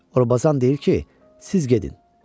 Orbazan deyir ki, siz gedin.